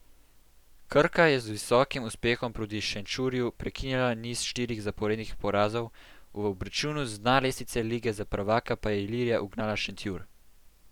Krka je z visokim uspehom proti Šenčurju prekinila niz štirih zaporednih porazov, v obračunu z dna lestvice lige za prvaka pa je Ilirija ugnala Šentjur.